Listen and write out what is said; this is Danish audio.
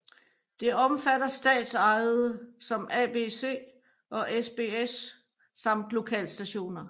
Det omfatter statsejede som ABC og SBS samt lokalstationer